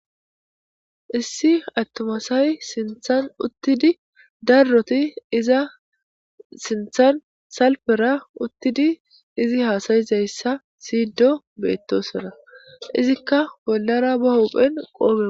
issi attomasay sinthan uttidi darroti iza sinthan salpera uttidi izi haasayizayssa siyido beettosona izikka bollara ba hophen qooge